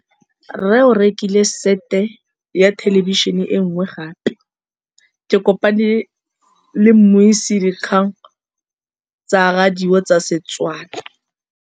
Rre o rekile sete ya thêlêbišênê e nngwe gape. Ke kopane mmuisi w dikgang tsa radio tsa Setswana.